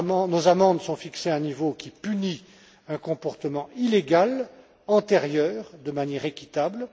Nos amendes sont fixées à un niveau qui punit un comportement illégal, antérieur, de manière équitable.